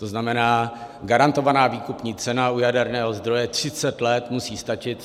- To znamená, garantovaná výkupní cena u jaderného zdroje 30 let musí stačit.